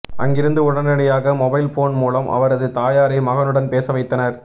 அங்கிருந்து உடனடியாக mobile phone மூலம் அவரது தாயாரை மகனுடன் பேச வைத்தனர்